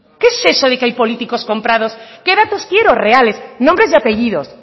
qué es eso de que hay políticos comprados qué datos quiero reales nombres y apellidos